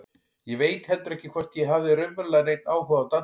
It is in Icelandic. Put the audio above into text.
Ég veit heldur ekki hvort ég hafði raunverulega neinn áhuga á dansi.